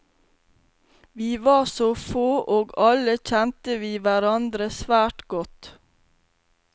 Vi var så få, og alle kjente vi hverandre svært godt.